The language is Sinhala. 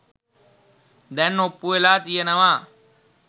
දැන් ඔප්පු වෙලා තියනව.